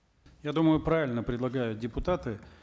я думаю правильно предлагают депутаты